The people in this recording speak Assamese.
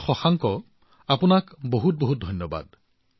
ডাঃ শশাংক আপোনাক বহুত ধন্যবাদ